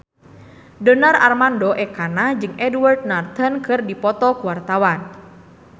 Donar Armando Ekana jeung Edward Norton keur dipoto ku wartawan